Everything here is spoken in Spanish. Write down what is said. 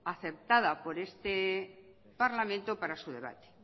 acertada por este parlamento para su debate